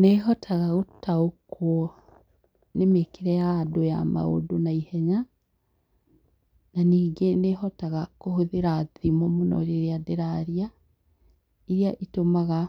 Nĩhotaga gũtaũkwo nĩ mĩkĩre ya andũ ya maũndũ na ihenya. Na nyingĩ nĩhotaga kũhũthĩra thimo mũno rĩrĩa ndĩraria , iria itũmaga